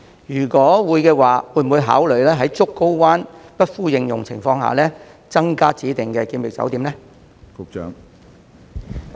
如果會，會否考慮在竹篙灣不敷應用的情況下，增加指定的檢疫酒店呢？